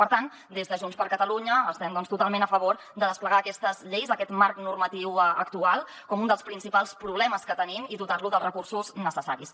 per tant des de junts per catalunya estem doncs totalment a favor de desplegar aquestes lleis aquest marc normatiu actual com un dels principals problemes que tenim i dotar lo dels recursos necessaris